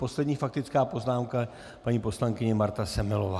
Poslední faktická poznámka, paní poslankyně Marta Semelová.